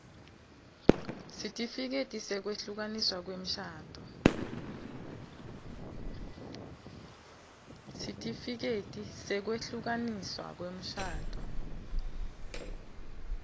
sitifiketi sekwehlukaniswa kwemshado